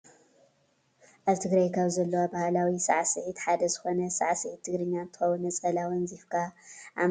ኣብ ትግራይ ካብ ዘለዎ ባህላዊ ሳዕስዒት ሓደ ዝኮነ ሳዕስዒት ትግርኛ እንትከውን ነፀላ ኣወንዚፍካ ኣብ መዓንጣካ ኣስርካ ከም ዝስዕሳዕ ትፈልጡ ዶ?